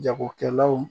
Jagokɛlaw